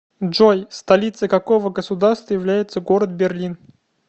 джой столицей какого государства является город берлин